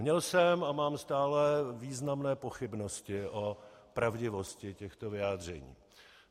Měl jsem a mám stále významné pochybnosti o pravdivosti těchto vyjádření.